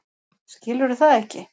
Skilurðu það ekki?